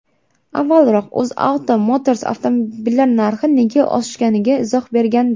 Avvalroq UzAuto Motors avtomobillar narxi nega oshganiga izoh bergandi .